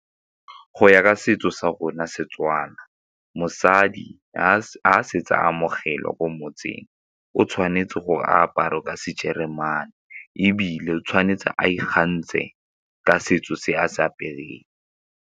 Go ya ka setso sa rona Setswana, mosadi ga a setse amogelwa ko motseng o tshwanetse gore a apare ka sejeremane ebile o tshwanetse a ikgantshe ka setso se a se apereng.